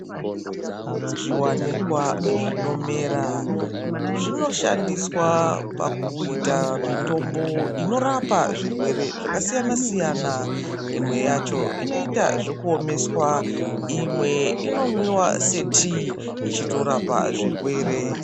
Zviwanikwa zvinomera zvinoshandiswa pakuita mitombo inorapa zvirwere zvakasiyana-siyana. Imwe yacho inoita zvekupiswa, imwe ichimwiwa setii, ichitorapa zvirwere.